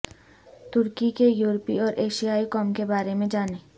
ترکی کے یورپی اور ایشیائی قوم کے بارے میں جانیں